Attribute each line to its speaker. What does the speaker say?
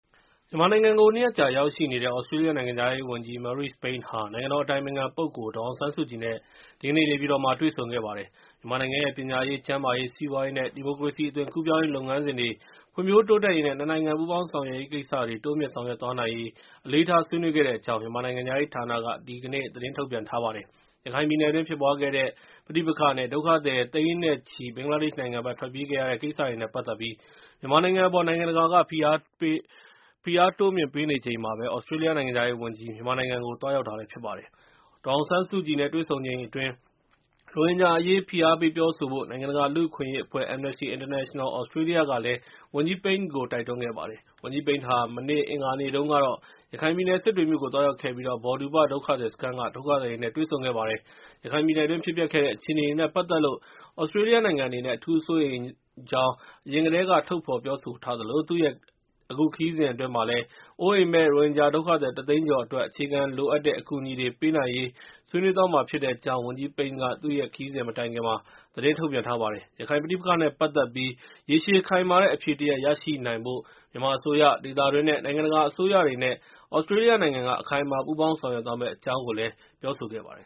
Speaker 1: မြန်မာနိုင်ငံကို နှစ်ရက်ကြာ ရောက်ရှိနေတဲ့ သြစတြေးလျနိုင်ငံခြားရေးဝန်ကြီး Marise Payne ဟာ နိုင်ငံတော် အတိုင်ပင်ခံ ပုဂ္ဂိုလ် ဒေါ်အောင်ဆန်းစုကြည်နဲ့ ဒီကနေ့ နေပြည်တော်မှာ တွေ့ဆုံခဲ့ပါတယ်။ မြန်မာနိုင်ငံရဲ့ ပညာရေး၊ ကျန်းမာရေး၊ စီးပွားရေးနဲ့ ဒီမိုကရေစီ အသွင်ကူးပြောင်းရေး လုပ်ငန်းစဉ်တွေ ဖွံ့ဖြိုးတိုးတက်ရေးနဲ့ နှစ်နိုင်ငံ ပူးပေါင်းဆောင်ရွက်ရေး ကိစ္စတွေ တိုးမြှင့်ဆောင်ရွက်သွားနိုင်ရေး အလေးထား ဆွေးနွေးခဲ့တဲ့အကြောင်း မြန်မာနိုင်ငံခြားရေးဌာနက ဒီကနေ့ သတင်း ထုတ်ပြန်ထားပါတယ်။ ရခိုင်ပြည်နယ်တွင်း ဖြစ်ပွားခဲ့တဲ့ ပဋိပက္ခနဲ့ ဒုက္ခသည်သိန်းနဲ့ချီ ဘင်္ဂလားဒေ့ရှ်နိုင်ငံဘက် ထွက်ပြေးခဲ့ရတဲ့ကိစ္စတွေနဲ့ပတ်သက်ပြီး မြန်မာအပေါ် နိုင်ငံတကာက ဖိအားတိုးမြင့် ပေးနေချိန်မှာ သြစတြေးလျနိုင်ငံခြားရေးဝန်ကြီး မြန်မာနိုင်ငံကို သွားရောက်တာလည်း ဖြစ်ပါတယ်။ ဒေါ်အောင်ဆန်းစုကြည်နဲ့ တွေ့ဆုံချိန်အတွင်း ရိုဟင်ဂျာအရေး ဖိအားပေး ပြောဆိုဖို့ နိုင်ငံတကာ လူ့အခွင့်အရေးအဖွဲ့ Amnesty International Australia ကလည်း ဝန်ကြီး Pyane ကို တိုက်တွန်းခဲ့ပါတယ်။ ဝန်ကြီး Pyane ဟာ မနေ့ အင်္ဂါနေ့တုန်းကတော့ ရခိုင်ပြည်နယ် စစ်တွေမြို့ကို သွားရောက်ခဲ့ပြီး Bawdupa ဒုက္ခသည်စခန်းက ဒုက္ခသည်တွေနဲ့ တွေ့ဆုံခဲ့ပါတယ်။ ရခိုင်ပြည်နယ်တွင်း ဖြစ်ပျက်ခဲ့တဲ့ အခြေအနေတွေနဲ့ ပတ်သက်လို့ သြစတြေးလျနိုင်ငံအနေနဲ့ အထူးစိုးရိမ်ကြောင်း အရင်ကတည်းက ထုတ်ဖော်ပြောဆိုထားသလို၊ သူ့ရဲ့ အခုခရီးစဉ်အတွင်း အိုးအိမ်မဲ့ ရိုဟင်ဂျာဒုက္ခသည် ၁ သိန်းကျော်အတွက် အခြေခံလိုအပ်တဲ့ အကူအညီတွေ ပေးနိုင်ရေး ဆွေးနွေးသွားမှာဖြစ်တဲ့အကြောင်း ဝန်ကြီး Payne က သူ့ရဲ့ခရီးစဉ်မတိုင်ခင် သတင်းထုတ်ပြန်ထားပါတယ်။ ရခိုင်ပဋိပက္ခနဲ့ပတ်သက်ပြီး ရေရှည် ခိုင်မာတဲ့ အဖြေတရပ် ရရှိနိုင်ဖို့ မြန်မာအစိုးရ၊ ဒေသတွင်းနဲ့ နိုင်ငံတကာအစိုးရတွေနဲ့ သြစတြေးလျနိုင်ငံက အခိုင်အမာ ပူးပေါင်း ဆောင်ရွက်သွားမယ့်အကြောင်းလည်း ပြောဆိုခဲ့ပါတယ်